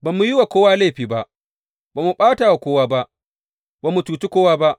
Ba mu yi wa kowa laifi ba, ba mu ɓata kowa ba, ba mu cuci kowa ba.